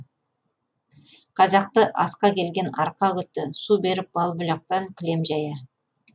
қазақты асқа келген арқа күтті су беріп бал бұлақтан кілем жая